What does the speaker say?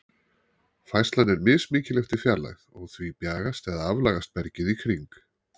Færslan er mismikil eftir fjarlægð, og því bjagast eða aflagast bergið í kring.